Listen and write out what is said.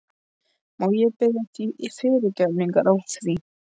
Má ég biðja þig fyrirgefningar á því?